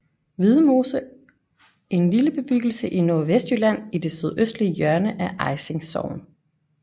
Hvidemose en lille bebyggelse i Nordvestjylland i det sydøstlige hjørne af Ejsing Sogn